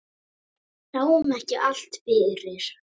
Við sáum ekki allt fyrir.